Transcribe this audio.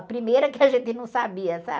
A primeira que a gente não sabia, sabe?